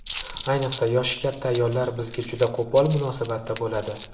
Ayniqsa, yoshi katta ayollar bizga juda qo‘pol munosabatda bo‘ladi.